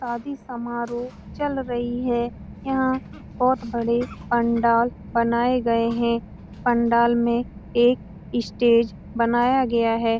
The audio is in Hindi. शादी समारोह चल रही है यहाँ बहोत बड़े पंडाल बनाये गए है पंडाल में एक स्टेज बनाया गया है।